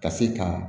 Ka se ka